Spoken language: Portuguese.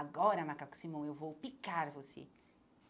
Agora, Macaco Simão, eu vou picar você.